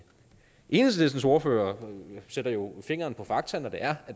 enhedslistens ordfører sætter jo fingeren på fakta ved at